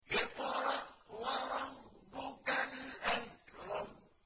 اقْرَأْ وَرَبُّكَ الْأَكْرَمُ